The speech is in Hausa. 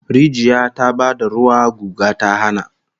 Rijiya ta ba da ruwa, guga ta hana